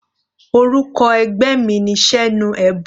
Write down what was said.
Orúkọ ẹgbẹ́ mi ni Senuebo.